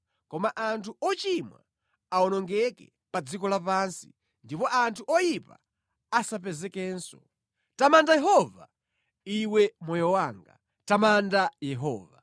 Koma anthu ochimwa awonongeke pa dziko lapansi ndipo anthu oyipa asapezekenso. Tamanda Yehova, Iwe moyo wanga. Tamandani Yehova.